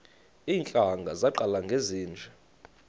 iintlanga zaqala ngezinje